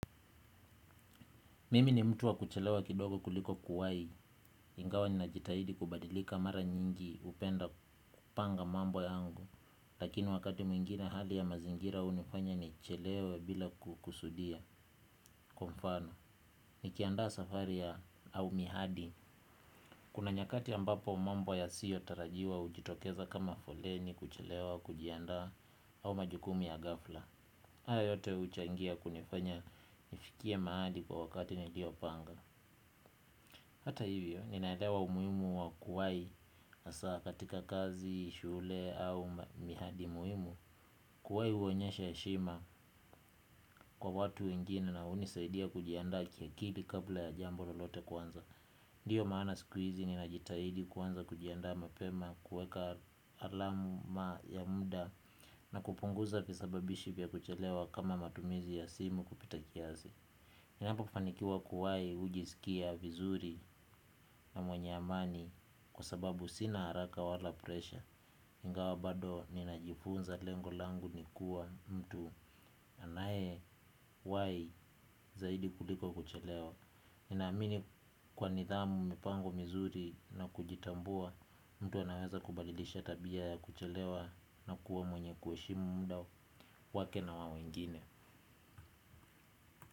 Mimi ni mtu wa kuchelewa kidogo kuliko kuwai, ingawa ninajitahidi kubadilika mara nyingi upenda kupanga mambo yangu. Lakini wakati mwingine hali ya mazingira unifanya nichelewe bila kukusudia kwa mfano, nikiandaa safari ya au mihadi. Kuna nyakati ambapo mambo yasiyo tarajiwa ujitokeza kama foleni kuchelewa kujiandaa au majukumu ya gafla. Haya yote uchangia kunifanya nifikie maadi kwa wakati nilio panga. Hata hivyo, ninaelewa umuimu wa kuwai asa katika kazi, shule au mihadi muimu. Kuwai uonyesha eshima kwa watu wengina na unisaidia kujianda kiakili kabla ya jambo lolote kuanza. Ndiyo maana sikuizi ninajitahidi kuanza kujiandaa mapema kuweka alamu ya muda na kupunguza fisababishi vya kuchelewa kama matumizi ya simu kupita kiazi. Ninapo kufanikiwa kuwai ujiskia vizuri na mwenye amani kwa sababu sina haraka wala presha ingawa bado ninajifunza lengo langu nikuwa mtu anaye wai zaidi kuliko kuchelewa. Ninaamini kwa nithamu mipango mizuri na kujitambua mtu anaweza kubadilisha tabia ya kuchelewa na kuwa mwenye kueshimu mda wake na wawengine.